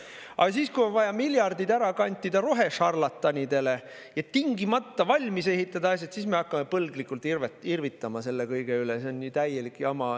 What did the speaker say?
Aga kui on vaja miljardid ära kantida rohešarlatanidele ja need asjad tingimata valmis ehitada, siis me hakkame selle kõige üle põlglikult irvitama, et see on ju täielik jama.